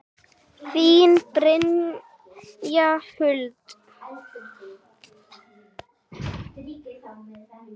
Þín, Brynja Huld.